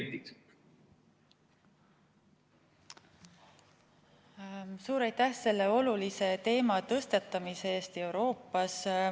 Suur aitäh selle Euroopale nii olulise teema tõstatamise eest!